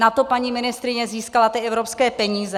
Na to paní ministryně získala ty evropské peníze.